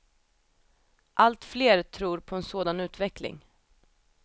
Allt fler tror på en sådan utveckling.